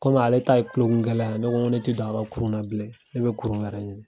Komi ale ta ye kulokungɛlɛya ye , ne ko ne ti don a ka kurun na bilen ne bi kurun wɛrɛ ɲini.